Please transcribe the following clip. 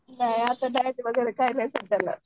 नाही असं डाएट वगैरे काही सुद्धा नाही.